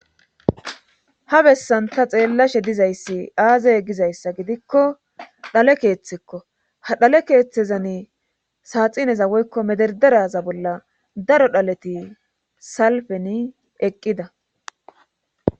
ha bessan ta xeellashe dizayssi aaze gizayssa gidikko dhale keeththekko ha dhale keeththezani saaxineza woykko mederderaza bolla daro dhaleti salfeni eqqida